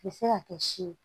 U bɛ se ka kɛ si ye